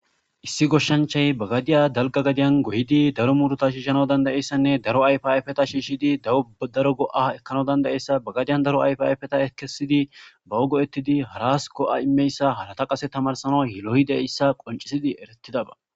Issi goshshanchay bagadiya dalga gadiyan goyidi daro muduta shiishana dandayeyssanne daro ayfaifeta shiishidi dawdaro go'a ekkana dandayessa bagadiyan daro ayfayfeta ekesidi ba wogo ettidi haras go'a immeyssa halata qase tamarsana hiloyi deyssa qoncisidi eretidaba.